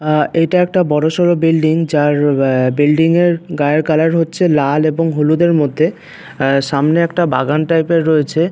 আ এটা একটা বড়সড় বিল্ডিং যার আ বিল্ডিংয়ের গায়ের কালার হচ্ছে লাল এবং হলুদের মধ্যে সামনে একটা বাগান টাইপের রয়েছে।